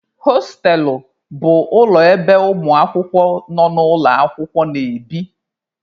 Hostelụ bụ ụlọ ebe ụmụ akwụkwọ nọ n'ụlọ akwụkwọ na-ebi.